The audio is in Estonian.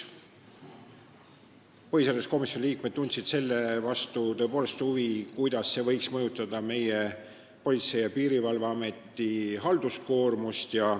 Põhiseaduskomisjoni liikmed tundsid huvi, kuidas see seadus võiks mõjutada meie Politsei- ja Piirivalveameti halduskoormust.